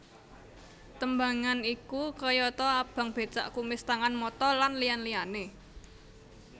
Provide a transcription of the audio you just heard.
Tembangan iku kayata Abang Becak Kumis Tangan Mata lan liyan liyané